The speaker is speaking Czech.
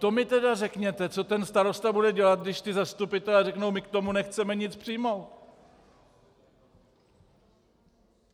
To mi tedy řekněte, co ten starosta bude dělat, když ti zastupitelé řeknou "my k tomu nechceme nic přijmout".